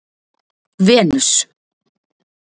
Venus